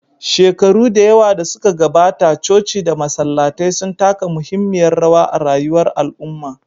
Shekaru da yawa da suka gabata, coci da masallatai sun taka muhimmiyar rawa a rayuwar al'umma.